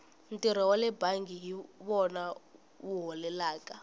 ntirho wale bangi hi wona wu holelaka